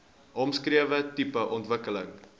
omskrewe tipe ontwikkeling